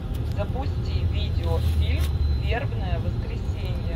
запусти видеофильм вербное воскресенье